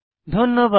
ধন্যবাদ